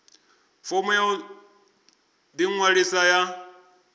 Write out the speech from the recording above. fomo ya u ḓiṅwalisa ya